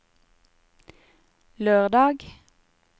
lørdag